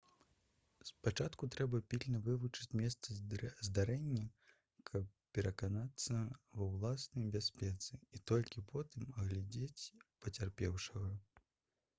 спачатку трэба пільна вывучыць месца здарэння каб пераканацца ва ўласнай бяспецы і толькі потым агледзець пацярпеўшага